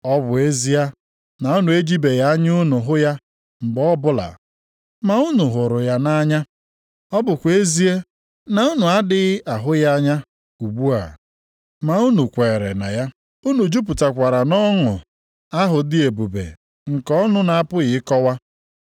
Ọ bụ ezie na unu ejibeghị anya unu hụ ya mgbe ọbụla, ma unu hụrụ ya nʼanya, ọ bụkwa ezie na unu adịghị ahụ ya anya ugbu a, ma unu kwere na ya. Unu jupụtakwara nʼọṅụ ahụ dị ebube nke ọnụ na-apụghị ịkọwa.